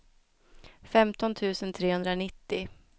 femton tusen trehundranittio